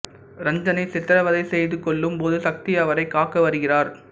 ரஞ்சனை சித்ரவதை செய்து கொல்லும் போது சக்தி அவரைக் காக்க வருகிறார்